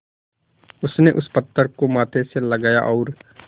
उसने उस पत्थर को माथे से लगाया और